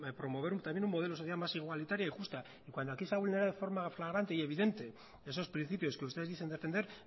promover también un modelo social más igualitario y justo y cuando aquí se ha vulnerado de forma flagrante y evidente esos principios que ustedes dicen defender